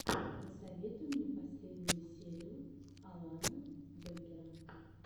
посоветуй мне последнюю серию алана бэкера